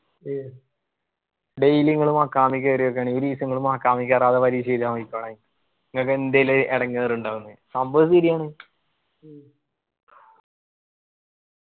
daily ഇങ്ങള് മഖാമി കേറിയിക്കണേ ഒരീസം നിങ്ങള് മഖാമി കേറാതെ പരീക്ഷ എയിതാൻ നോക്കിയോണെ നിങ്ങക്ക് എന്തേലും എടങ്ങേറ് ഇണ്ടാവു ന്ന്‌ സംഭവം ശെരിയാണ്.